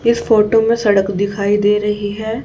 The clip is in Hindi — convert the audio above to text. इस फोटो में सड़क दिखाई दे रही है।